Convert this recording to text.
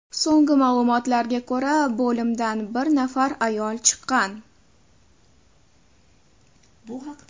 So‘nggi ma’lumotlarga ko‘ra, bo‘limdan bir nafar ayol chiqqan.